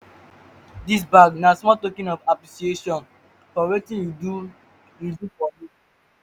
dis bag na small token of appreciation for wetin you do for you do for me